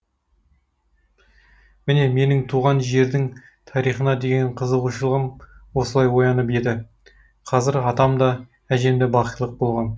міне менің туған жердің тарихына деген қызығушылығым осылай оянып еді қазір атам да әжем де бақилық болған